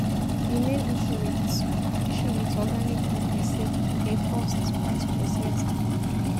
Di main issue with organic food be sey, e dey cost pass processed food